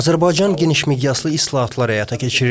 Azərbaycan geniş miqyaslı islahatlar həyata keçirir.